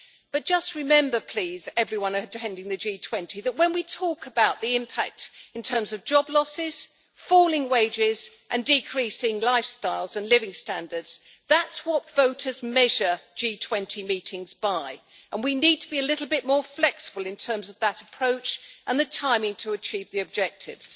But just remember please, everyone attending the G20, that when we talk about the impact in terms of job losses, falling wages and decreasing lifestyles and living standards, that's what voters measure G20 meetings by, and we need to be a little bit more flexible in terms of that approach and the timing to achieve the objectives.